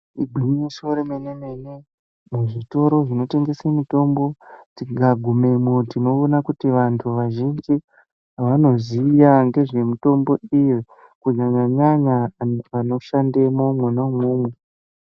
Igwinyiso remene-mene, muzvitoro zvinotengeswe mitombo. Tikagumemo, tinoona kuti vantu vazhinji vanoziya ngezvemitombo iyi kunyanya-nyanya vanoshandemo mwona umwomwo.